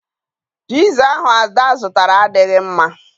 Piza ahụ Ada zụtara adịghị mma